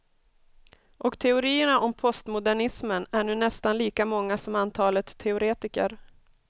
Och teorierna om postmodernismen är nu nästan lika många som antalet teoretiker.